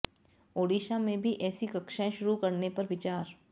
ओडिशा में भी ऐसी कक्षाएं शुरू करने पर विचार